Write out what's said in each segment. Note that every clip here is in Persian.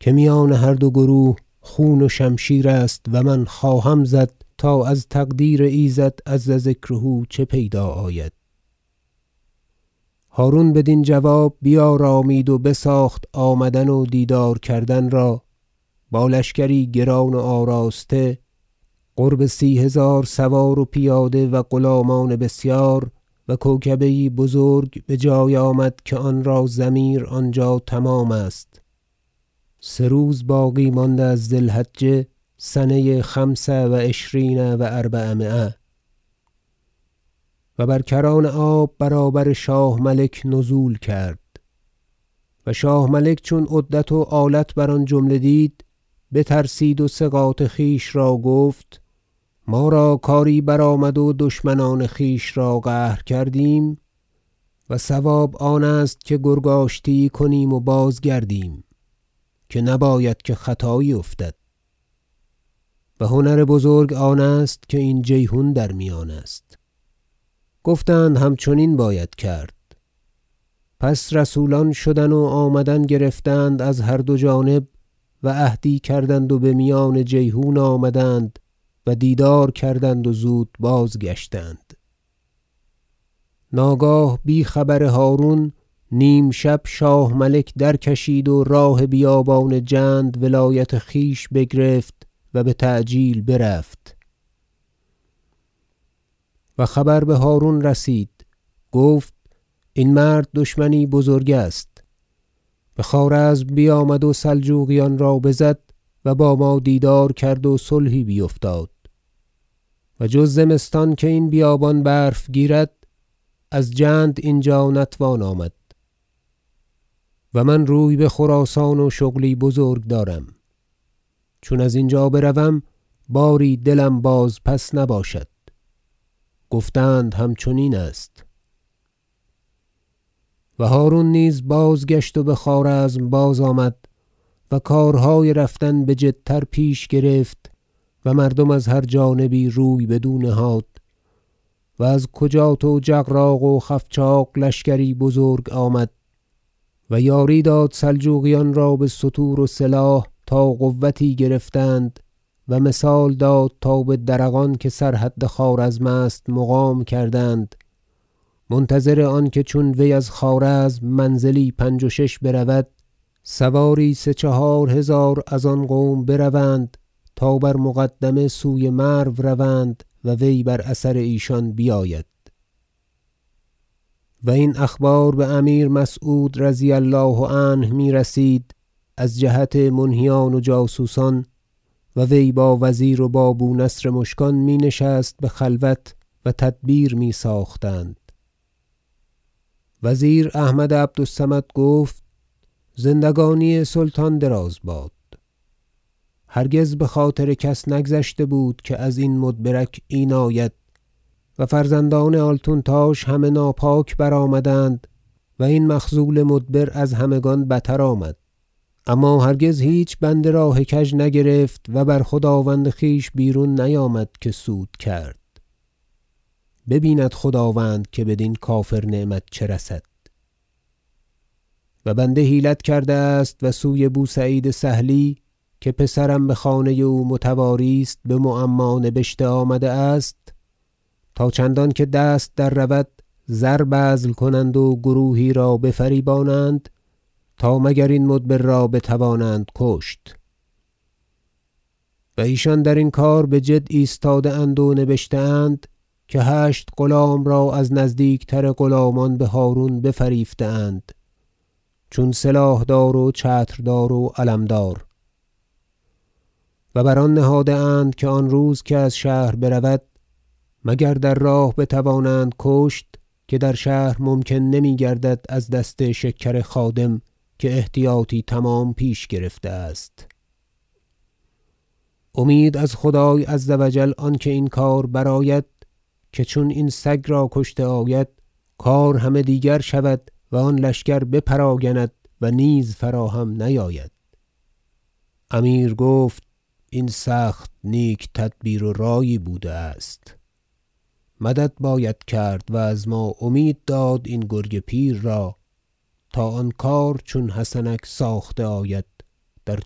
که میان هر دو گروه خون و شمشیر است و من خواهم زد تا از تقدیر ایزد عز ذکره چه پیدا آید هرون بدین جواب بیارامید و بساخت آمدن و دیدار کردن را با لشکری گران و آراسته قرب سی هزار سوار و پیاده و غلامان بسیار و کوکبه یی بزرگ بجای آمد که آنرا ضمیر آنجا تمام است سه روز باقی مانده از ذی الحجه سنه خمس و عشرین و اربعمایه و بر کران آب برابر شاه ملک نزول کرد و شاه ملک چون عدت و آلت بر آن جمله دید بترسید و ثقات خویش را گفت ما را کاری برآمد و دشمنان خویش را قهر کردیم و صواب آنست که گرگ آشتی یی کنیم و بازگردیم که نباید که خطایی افتد و هنر بزرگ آنست که این جیحون در میان است گفتند همچنین باید کرد پس رسولان شدن و آمدن گرفتند از هر دو جانب و عهدی کردند و بمیان جیحون آمدند و دیدار کردند و زود بازگشتند ناگاه بی خبر هرون نیمشب شاه ملک درکشید و راه بیابان جند ولایت خویش بگرفت و بتعجیل برفت و خبر بهرون رسید گفت این مرد دشمنی بزرگ است بخوارزم بیامد و سلجوقیان را بزد و با ما دیدار کرد و صلحی بیفتاد و جز زمستان که این بیابان برف گیرد از جند اینجا نتوان آمد و من روی بخراسان و شغلی بزرگ دارم چون ازینجا بروم باری دلم بازپس نباشد گفتند همچنین است و هرون نیز بازگشت و بخوارزم بازآمد و کارهای رفتن بجدتر پیش گرفت و مردم از هر جانبی روی بدو نهاد و از کجات و جغراق و خفچاخ لشکری بزرگ آمد و یاری داد سلجوقیان را بستور و سلاح تا قوتی گرفتند و مثال داد تا به درغان که سر حد خوارزم است مقام کردند منتظر آنکه چون وی از خوارزم منزلی پنج و شش برود سواری سه چهار هزار از آن قوم بروند تا بر مقدمه سوی مرو روند و وی بر اثر ایشان بیاید و این اخبار بامیر مسعود رضی الله عنه میرسید از جهت منهیان و جاسوسان و وی با وزیر و با بو نصر مشکان می نشست بخلوت و تدبیر می ساختند وزیر احمد عبد الصمد گفت زندگانی سلطان دراز باد هرگز بخاطر کس نگذشته بود که ازین مدبرک این آید و فرزندان آلتونتاش همه ناپاک برآمدند و این مخذول مدبر از همگان بتر آمد اما هرگز هیچ بنده راه کژ نگرفت و بر خداوند خویش بیرون نیامد که سود کرد ببیند خداوند که بدین کافر نعمت چه رسد و بنده حیلت کرده است و سوی بو سعید سهلی که پسرم بخانه او متواری است بمعما نبشته آمده است تا چندانکه دست دررود زر بذل کنند و گروهی را بفریبانند تا مگر این مدبر را بتوانند کشت و ایشان درین کار بجد ایستاده اند و نبشته اند که هشت غلام را از نزدیکتر غلامان بهرون بفریفته اند چون سلاحدار و چتردار و علمدار و بر آن نهاده اند که آن روز که از شهر برود مگر در راه بتوانند کشت که در شهر ممکن نمیگردد از دست شکر خادم که احتیاطی تمام پیش گرفته است امید از خدای عز و جل آنکه این کار برآید که چون این سگ را کشته آید کار همه دیگر شود و آن لشکر بپراگند و نیز فراهم نیاید امیر گفت این سخت نیک تدبیر و رایی بوده است مدد باید کرد و از ما امید داد این گرگ پیر را تا آن کار چون حسنک ساخته آید در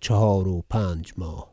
چهار و پنج ماه